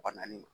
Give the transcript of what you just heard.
Wa naani